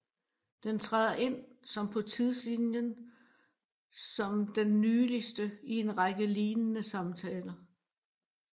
Den træder ind som på tidslinjen som den nyligste i en række lignende samtaler